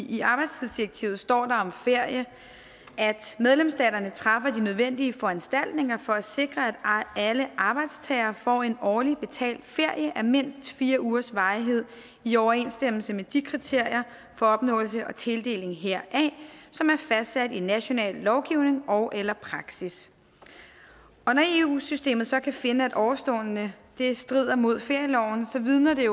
i arbejdstidsdirektivet står der om ferie medlemsstaterne træffer de nødvendige foranstaltninger for at sikre at alle arbejdstagere får en årlig betalt ferie af mindst fire ugers varighed i overensstemmelse med de kriterier for opnåelse og tildeling heraf som er fastsat i national lovgivning ogeller praksis når eu systemet så kan finde at ovenstående strider mod ferieloven så vidner det